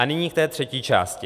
A nyní k té třetí části.